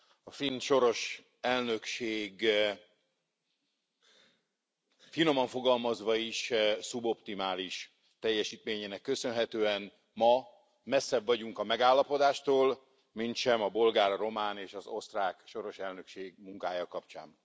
A finn soros elnökség, finoman fogalmazva is, szuboptimális teljesítményének köszönhetően ma messzebb vagyunk a megállapodástól, mintsem a bolgár, a román és az osztrák soros elnökség munkája kapcsán.